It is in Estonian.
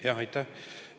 Aitäh!